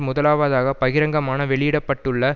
முதலாவதாக பகிரங்கமான வெளியிட பட்டுள்ள